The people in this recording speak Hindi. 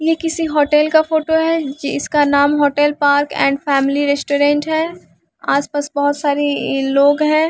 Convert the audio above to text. यह किसी होटल का फोटो है जिसका नाम hotel park and family restaurant है आसपास बहुत सारे अ लोग हैं।